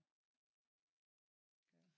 Altså det jo surt iggå